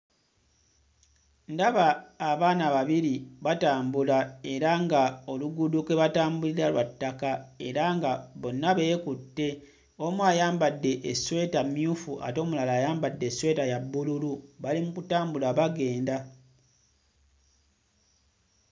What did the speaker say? Ndaba abaana babiri batambula era nga oluguudo kwe batambulira lwa ttaka era nga bonna beekutte omu ayambadde essweta mmyufu ate omulala ayambadde essweta ya bbululu bali mu kutambula bagenda.